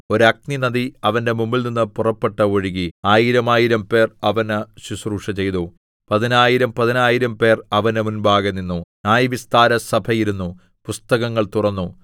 ഒരു അഗ്നിനദി അവന്റെ മുമ്പിൽനിന്ന് പുറപ്പെട്ട് ഒഴുകി ആയിരമായിരം പേർ അവന് ശുശ്രൂഷചെയ്തു പതിനായിരം പതിനായിരംപേർ അവന്റെ മുമ്പാകെ നിന്നു ന്യായവിസ്താരസഭ ഇരുന്നു പുസ്തകങ്ങൾ തുറന്നു